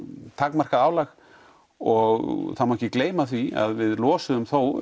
takmarkað álag og það má ekki gleyma því að við losuðum þó